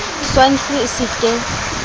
swine flu e se ke